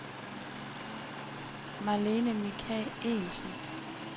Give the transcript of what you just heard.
Marlene Michaelsen